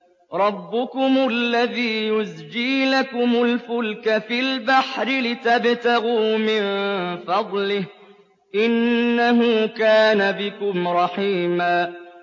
رَّبُّكُمُ الَّذِي يُزْجِي لَكُمُ الْفُلْكَ فِي الْبَحْرِ لِتَبْتَغُوا مِن فَضْلِهِ ۚ إِنَّهُ كَانَ بِكُمْ رَحِيمًا